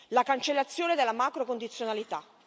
la cancellazione della macrocondizionalità.